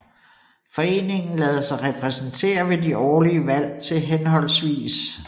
Foreningen lader sig repræsentere ved de årlige valg til hhv